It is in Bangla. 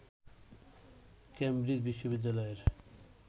কেম্ব্রিজ বিশ্ববিদ্যালয়ের